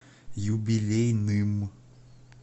юбилейным